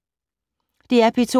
DR P2